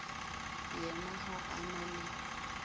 yena ga a na le